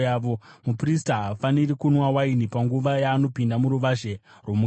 Muprista haafaniri kunwa waini panguva yaanopinda muruvazhe rwomukati.